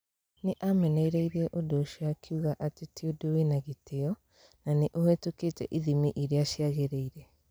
Nĩ aamenereirie ũndũ ũcio akiuga atĩ ti ũndũ wina gĩtĩo, na nĩ ũhĩtũkĩte ithimi iria ciagĩrĩire.